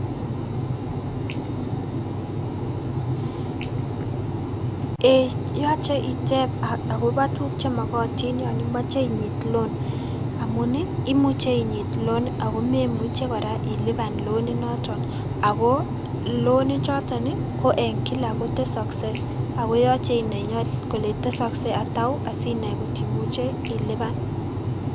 Eeii yoche iteeb akobo tukuk chemokotin yon imoche inyit loan, amun imuche inyit loan akomemuche kora iliban loan inoton akoo loan ichoton ko en kilak kotesoksee akoyoche inai ilee tesoksei atauu sinai kotimuche iliban.